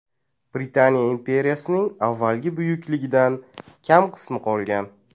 Britaniya imperiyasining avvalgi buyukligidan kam qismi qolgan.